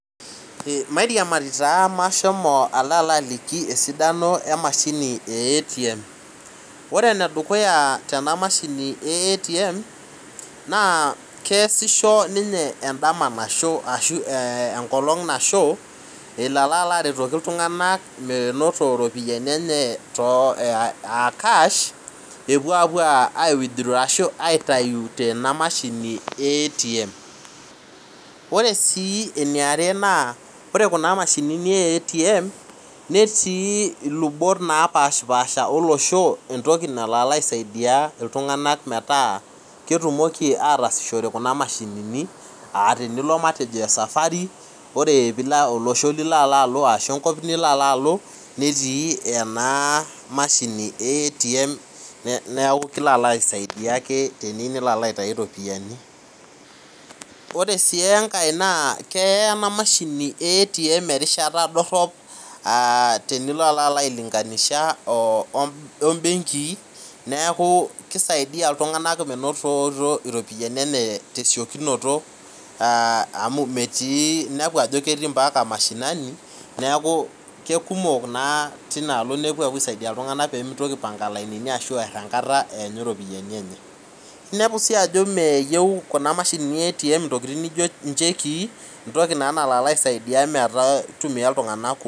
Mairiamari taa maashomo alo alaliki esidano emashini e ATM Ore enedukuya tena mashini e ATM naa keesisho ninye endama nasho ashu engolong' nasho elo alaretoki iltung'anak menoto iropiyiani enye aa kash epuo apuo aiwithraw ashu aitayu tena mashini e ATM Ore sii eniare naa ore kuna mashini e ATM netii ilubot naapashipaasha olosho entoki nalo alaisaidia iltung'anak metaa ketumoki ataasishore kuna mashini aa tenilo matejo esafari ore olosho lilo alaalo ashu enkop nilo alaalo netii ena mashini e ATM neeku kilo alo aisaidia ake tenilo alaitayu iropiyiani Ore sii enkae naa keya ena mashini e ATM erishata dorhop tenilo alalo ailinganisha oo mbenkii neeku kisaidia iltung'anak menoto iropiyiani tesiokinoto aah metii inepu ajo ketii ombaka mashinani neeku kekumok naa tinaalo neeku epuo aisaidia iltung'anak peemitoki aipanga ilainini enkata eyanyu iropiyiani enye Inepu sii ajo meyieu kuna mashini e ATM intokiting nijo nchekii entoki naa nalo alaisaidia mitumia iltung'anak kumok.